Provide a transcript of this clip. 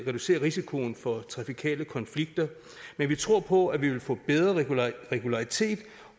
reducere risikoen for trafikale konflikter men vi tror på at vi vil få en bedre regularitet regularitet